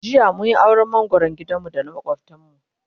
jiya mun Yi auran mangoran gidan mu da na makwaftan mu